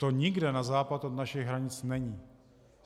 To nikde na západ od našich hranic není.